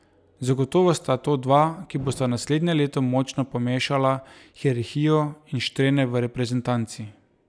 Zagotovo sta to dva, ki bosta naslednje leto močno pomešala hierarhijo in štrene v reprezentanci.